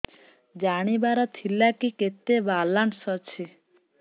ଜାଣିବାର ଥିଲା କି କେତେ ବାଲାନ୍ସ ଅଛି